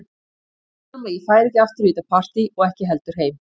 Ég sagði honum að ég færi ekki aftur í þetta partí og ekki heldur heim.